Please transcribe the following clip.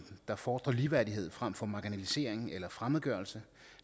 der fordrer ligeværdighed frem for marginalisering eller fremmedgørelse